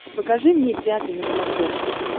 покажи мне пятый на смотрешке